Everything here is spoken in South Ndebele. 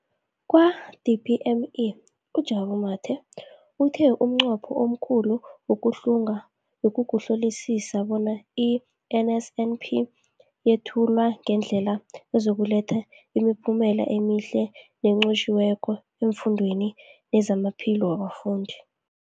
Kwa-DPME, uJabu Mathe, uthe umnqopho omkhulu wokuhlunga bekukuhlolisisa bona i-NSNP yethulwa ngendlela ezokuletha imiphumela emihle nenqotjhiweko efundweni nezamaphilo wabafundi.